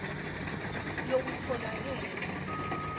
lokutfolakele